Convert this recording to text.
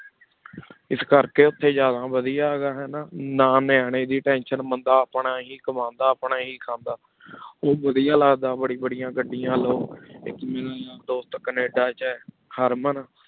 ਇਸ ਕਰ ਕੀ ਉਠੀ ਜਾਦਾ ਵਾਦੇਯਾ ਹੈਂ ਗਾ ਨਾ ਨਾ ਨਿਯੰ ਦੀ ਟੇਂਸ਼ਨ ਬੰਦਾ ਆਪਣਾ ਹੀ ਕਾਮ੍ਨ੍ਦਾ ਆਪਣਾ ਹੀ ਖੰਡਾ ਉਵਾਦੇਯਾ ਲਗ ਦਾ ਬਾਰੀ ਬਾਰੀ ਘਦੇਯਨ ਲੋ ਏਕ ਦੋਸਤ ਕੇਯ੍ਦਾ ਚ ਖ਼ਰ, ਮੈਂ